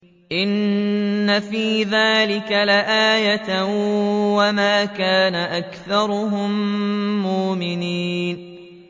إِنَّ فِي ذَٰلِكَ لَآيَةً ۖ وَمَا كَانَ أَكْثَرُهُم مُّؤْمِنِينَ